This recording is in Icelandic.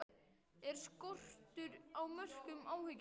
Er skortur á mörkum áhyggjuefni?